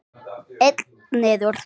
Einn niður!